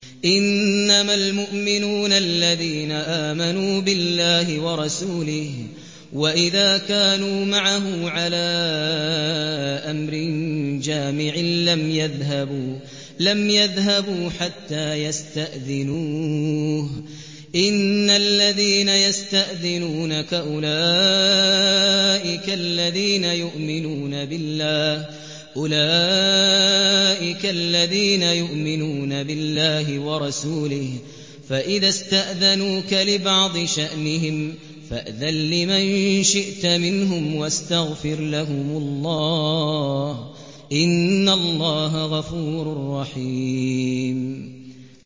إِنَّمَا الْمُؤْمِنُونَ الَّذِينَ آمَنُوا بِاللَّهِ وَرَسُولِهِ وَإِذَا كَانُوا مَعَهُ عَلَىٰ أَمْرٍ جَامِعٍ لَّمْ يَذْهَبُوا حَتَّىٰ يَسْتَأْذِنُوهُ ۚ إِنَّ الَّذِينَ يَسْتَأْذِنُونَكَ أُولَٰئِكَ الَّذِينَ يُؤْمِنُونَ بِاللَّهِ وَرَسُولِهِ ۚ فَإِذَا اسْتَأْذَنُوكَ لِبَعْضِ شَأْنِهِمْ فَأْذَن لِّمَن شِئْتَ مِنْهُمْ وَاسْتَغْفِرْ لَهُمُ اللَّهَ ۚ إِنَّ اللَّهَ غَفُورٌ رَّحِيمٌ